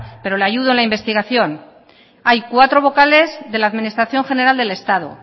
pero le ayudo a la investigación hay cuatro vocales de la administración general del estado